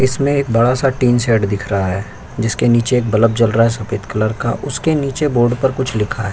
इसमें एक बड़ा सा टीन शेड दिख रहा है जिसके नीचे एक बलब जल रहा है सफेद कलर का। उसके नीचे बोर्ड पर कुछ लिखा है।